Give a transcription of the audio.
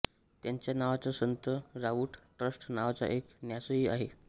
त्यांच्या नावाचा संत रावूळ ट्रस्ट नावाचा एक न्यासही आहे